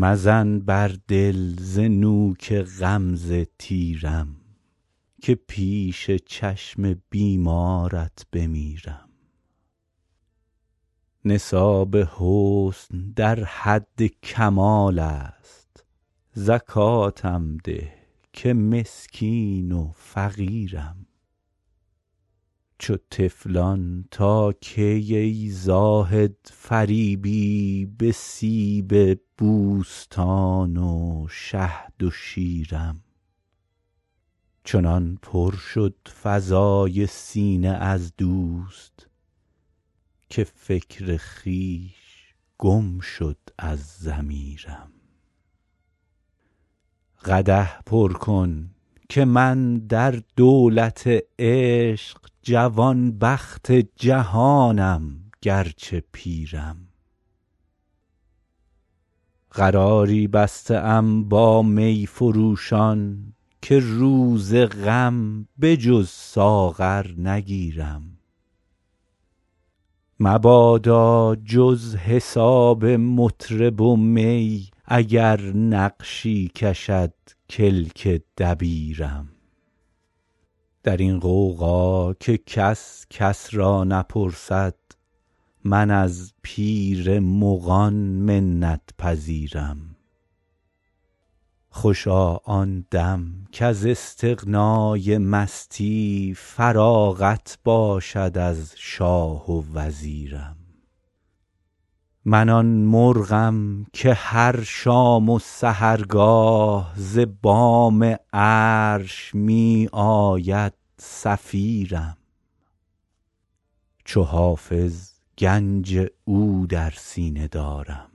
مزن بر دل ز نوک غمزه تیرم که پیش چشم بیمارت بمیرم نصاب حسن در حد کمال است زکاتم ده که مسکین و فقیرم چو طفلان تا کی ای زاهد فریبی به سیب بوستان و شهد و شیرم چنان پر شد فضای سینه از دوست که فکر خویش گم شد از ضمیرم قدح پر کن که من در دولت عشق جوانبخت جهانم گرچه پیرم قراری بسته ام با می فروشان که روز غم به جز ساغر نگیرم مبادا جز حساب مطرب و می اگر نقشی کشد کلک دبیرم در این غوغا که کس کس را نپرسد من از پیر مغان منت پذیرم خوشا آن دم کز استغنای مستی فراغت باشد از شاه و وزیرم من آن مرغم که هر شام و سحرگاه ز بام عرش می آید صفیرم چو حافظ گنج او در سینه دارم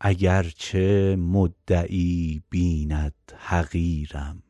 اگرچه مدعی بیند حقیرم